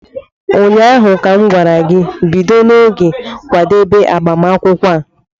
Ụnyaahụ m gwara gị, bido n'oge kwadewe agbamakwụkwọ a!